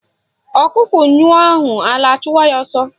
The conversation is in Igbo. Ọkụkọ nyụọ ahụ ala achụwa ya ọsọ